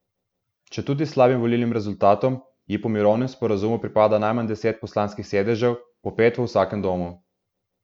Četudi s slabim volilnim rezultatom, ji po mirovnem sporazumu pripada najmanj deset poslanskih sedežev, po pet v vsakem domu.